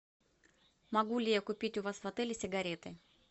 могу ли я купить у вас в отеле сигареты